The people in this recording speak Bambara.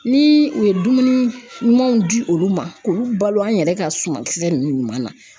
Ni u ye dumuni ɲumanw di olu ma, k'olu balo an yɛrɛ ka suma kisɛ nunnu ɲuman na.